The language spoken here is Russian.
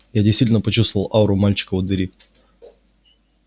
я действительно почувствовал ауру мальчика у двери